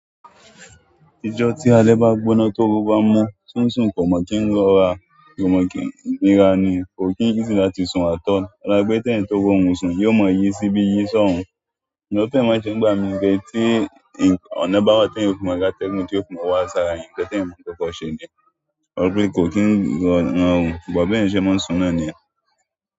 Ìjọ tí alẹ́ bá gbóná tó run bá mú, sùnsùn kò mọ̀ kí ń lọ́ra, kò mọ̀ kí ń nira ni, kò kí n easy láti sun àt all. Ọ̀la pẹ́, kẹ́ẹ̀yan tó rọrùn sùn, yóò mọ yí síbi yí sọ́hùn. Ṣùgbọ́n nkan ti mo se ńigbà mí pẹ́ tí ọ̀nà bá wá t'ẹ́yan ò fi ma ri atẹ́gùn tí ó fún ọ wá sára yan, ǹkan tẹ́yan ma koko ṣẹ yen ọ̀la pé kò kí n ròrun, ṣùgbọ́n bí ẹ̀yin ṣe máa ń sùn náà ni yẹ́n.